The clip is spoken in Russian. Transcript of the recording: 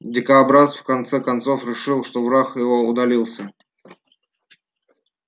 дикобраз в конце концов решил что враг его удалился